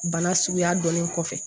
Bana suguya dɔnnen kɔfɛ